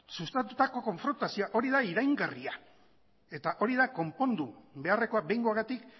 sustatutako konfrontazioa horia da iraingarria eta hori da konpondu beharrekoa behingoagatik